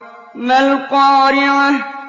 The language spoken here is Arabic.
مَا الْقَارِعَةُ